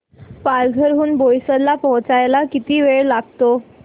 पालघर हून बोईसर ला पोहचायला किती वेळ लागतो